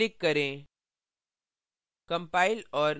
save पर click करें